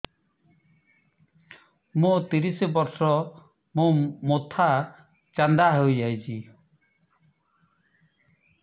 ମୋ ତିରିଶ ବର୍ଷ ମୋ ମୋଥା ଚାନ୍ଦା ହଇଯାଇଛି